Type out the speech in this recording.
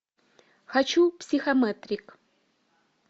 хочу психометрик